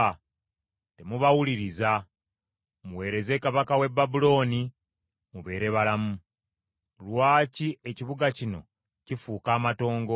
Temubawuliriza. Muweereze kabaka w’e Babulooni, mubeere balamu. Lwaki ekibuga kino kifuuka amatongo?